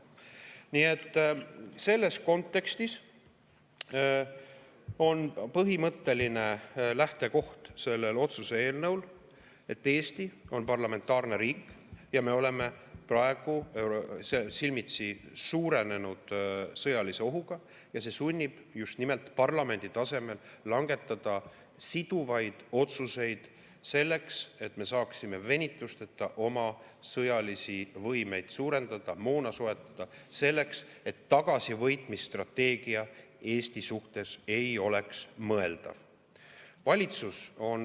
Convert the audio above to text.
Nii et selles kontekstis on selle otsuse eelnõu põhimõtteline lähtekoht see, et Eesti on parlamentaarne riik ja me oleme praegu silmitsi suurenenud sõjalise ohuga ja see sunnib just nimelt parlamendi tasemel langetama siduvaid otsuseid selleks, et me saaksime venitusteta oma sõjalisi võimeid suurendada, moona soetada, et tagasivõitmise strateegia Eesti suhtes ei oleks mõeldav.